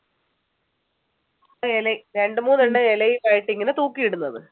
ഇലയിൽ രണ്ടുമൂന്ന് ഇലയിൽ ഇങ്ങനെ തൂക്കിയിട്ടിരിക്കുന്നത്